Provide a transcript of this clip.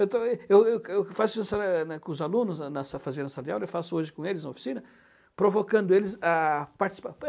Eu também eu eu faço isso eh, né, com os alunos a na sa fazenda salarial, eu faço hoje com eles a oficina, provocando eles a participar.